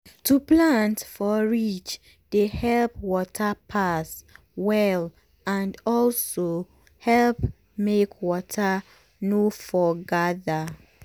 to plant for ridge dey help water pass well and also help make water no for gather